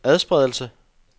adspredelse